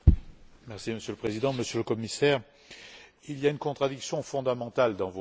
Monsieur le Président, Monsieur le Commissaire, il y a une contradiction fondamentale dans vos choix.